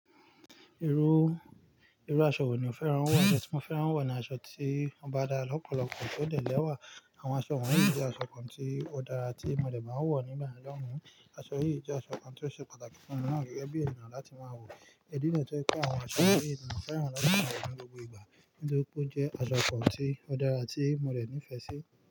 Irú, irú aṣọ wò ni o fẹ́ran wọ̀? Aṣọ tí mo fẹ́ran wọ̀ ni aṣọ tí ó bá dára lọ́pọ̀lọpọ̀ tó dẹ̀ l'ẹ́wà. Àwọn aṣọ wọ̀nyí jẹ́ aṣọ kan tí ó dára tí mo dẹ máa ń wọ̀ nígbà yẹn lọhun. Aṣọ yìí jẹ́ aṣọ kan tí ó ṣe pàtàkì fún mi náà gẹ́gẹ́ bí ènìyàn láti máa wọ̀. Ìdí nìyí tó fi jẹ pe àwọn aṣọ yìí ni mo fẹ́ran láti ma wọ ni gbogbo ìgbà. Nítorí pé ó jẹ́ aṣọ kan tí ó dára tí mo rẹ̀ nífẹ̀ẹ́ sí.